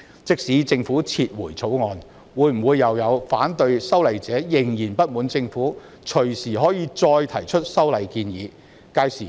即使政府撤回《條例草案》，會否又有反對修例者仍然不滿政府可以隨時再提出修例建議？